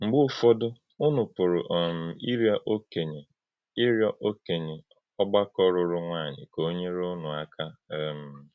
Mgbe ụfọdụ̀, unú pụrụ um ịrịọ́ òkènyè ịrịọ́ òkènyè ọ̀gbàkọ lụrụ̀ nwànyị ka o nyere unú aka. um